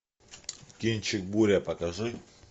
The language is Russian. кинчик буря покажи